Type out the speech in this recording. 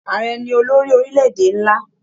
Ààrẹ ni olórí orílẹ̀-èdè nlá.